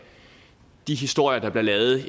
de historier der bliver lavet